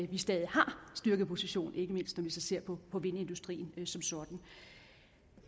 vi stadig har styrkeposition ikke mindst når vi ser på vindindustrien som sådan